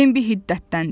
Bembi hiddətləndi.